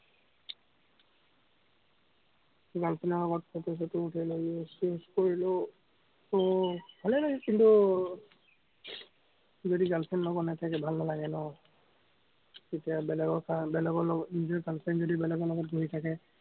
girl friend ৰ লগত photo চটো উঠিলো। exchange কৰিলো। উম ভালেই লাগে, কিন্তু, যদি girl friend লগত নাথাকে ভাল নালাগে ন, তেতিয়া বেলেগৰ কাৰণে বেলেগৰ লগত, নিজৰ girl friend যদি বেলেগৰ লগত বহি থাকে।